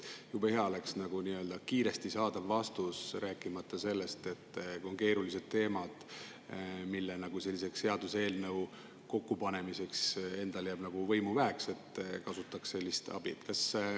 Jube hea oleks kiiresti saada vastus, rääkimata sellest, et kui on keerulised teemad, mille puhul seaduseelnõu kokkupanemiseks endal jääb nagu võimu väheks, kasutataks sellist abi.